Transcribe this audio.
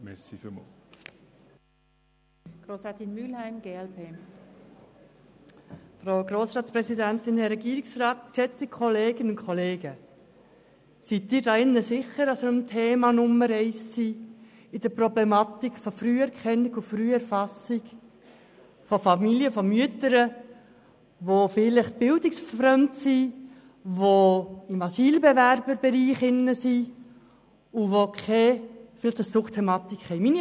Sind Sie sicher, dass wir uns hier beim Thema Nummer eins befinden hinsichtlich der Problematik der Früherkennung und Früherfassung von Familien und Mütter, die bildungsfern sind, die sich im Bereich der Asylbewerbung befinden und die vielleicht eine Suchtthematik haben?